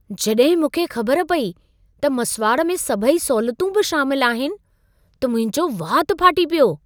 जॾहिं मूंखे ख़बर पेई त मसुवाड़ में सभई सहूलियतूं बि शामिल आहिनि, त मुंहिंजो वात फाटी पियो।